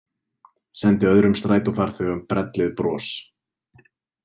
Sendi öðrum strætófarþegum brellið bros.